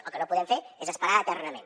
el que no podem fer és esperar eternament